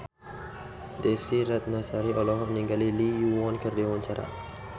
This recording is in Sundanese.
Desy Ratnasari olohok ningali Lee Yo Won keur diwawancara